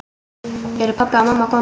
Eru pabbi og mamma komin?